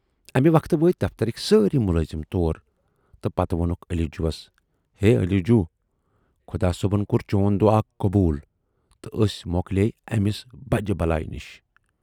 امہِ وقتہٕ وٲتۍ دفترٕکۍ سٲری مُلٲزِم تور تہٕ پتہٕ وونُکھ علی جوہَس، ہے علی جوٗ خۅدا صٲبن کور چون دُعا قبوٗل تہٕ ٲسۍ مۅکلے أمِس بجہِ بلایہِ نِش